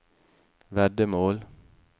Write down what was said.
veddemål